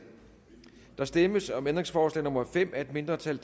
der stemmes om ændringsforslag nummer fem af et mindretal